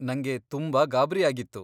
ನಂಗೆ ತುಂಬಾ ಗಾಬ್ರಿಯಾಗಿತ್ತು.